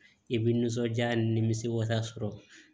I bɛ nisɔndiya ni misiwasa sɔrɔ